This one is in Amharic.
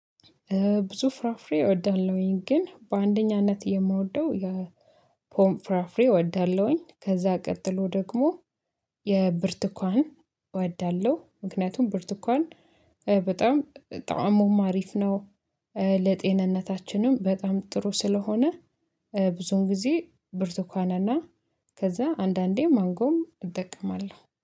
ብዙ ፍራፍሬ እወዳለሁኝ ግን በአንደኛነት የምወደው የፖም ፍራፍሬ እወዳለሁኝ ከዛ ቀጥሎ ደግሞ የብርቱካን እወዳለሁ ምክንያቱም ብርቱካን በጣም በጣም ጣእሙም አሪፍ ነው። ለጤንነታችንም በጣም ጥሩ ስለሆነ ብዙውን ጊዜ ብርቱካንና ከዛ አንዳንዴ ማንጎም እጠቀማለሁ